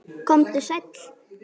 Komdu sæll.